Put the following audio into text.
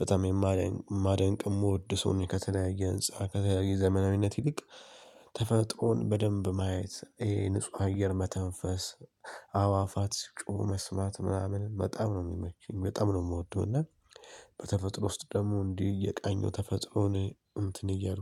በጣም የማደን ማደንቅ የምወድ ሰው ከተለያየ ህንፃ ከተለያየ ዘመናዊነት ይልቅ ተፈጥሮን በደንብ ማየት ይሄ ንጹህ አየር መተንፈስ አዋፋት ሲጮህ መስማት ምናምን በጣም ነው የሚመቹኝ በጣም ነው የምወደው። እና በተፈጥሮ ውስጥ ደግሞ እንዲህ እየቃኘው ተፈጥሮን እንትን እያልኩ